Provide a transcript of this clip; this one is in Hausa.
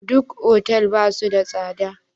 Duk otal ba su da tsada?